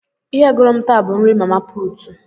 Ihe gụrụ m taa bụ nri mama putu.